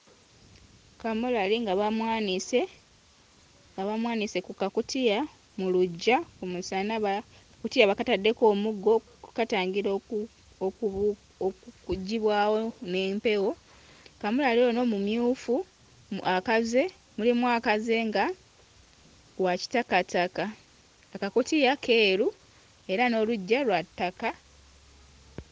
Kaamulali nga bamwanise, nga bamwanise ku kakutiya mu luggya ku musana ba... akakutiya bakataddeko omuddo okukatangira oku... okubu... okuggyibwawo n'empewo. Kamulali ono mumyufu akaze, mulimu akaze nga wa kitakataka, akakutiya keeru era n'oluggya lwa ttaka.